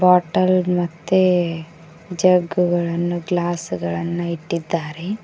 Bottle ಮತ್ತೆ jug ಗಳನ್ನು glass ಗಳನ್ನು ಇಟ್ಟಿದ್ದಾರೆ.